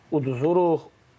Uduzururuq.